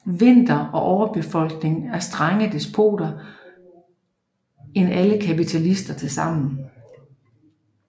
Vinter og overbefolkning er strengere despoter end alle kapitalister til sammen